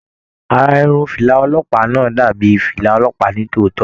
Ará Irun fìlà ọlọ́pàá náà dàbí fìlà ọlọ́pàá ni tòótọ.